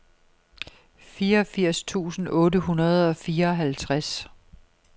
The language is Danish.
fireogfirs tusind otte hundrede og fireoghalvtreds